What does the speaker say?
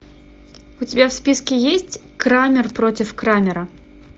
у тебя в списке есть крамер против крамера